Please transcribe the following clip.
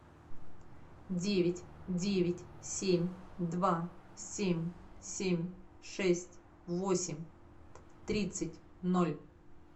девять девять семь два семь семь шесть восемь тридцать ноль